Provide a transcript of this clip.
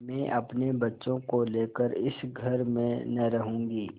मैं अपने बच्चों को लेकर इस घर में न रहूँगी